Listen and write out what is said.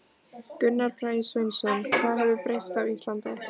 Gunnar Bragi Sveinsson: Hvað hefur breyst á Íslandi?